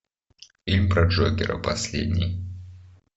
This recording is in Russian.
фильм про джокера последний